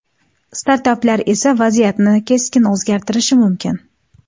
Startaplar esa vaziyatni keskin o‘zgartirishi mumkin.